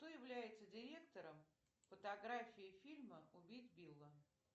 кто является директором фотографии фильма убить билла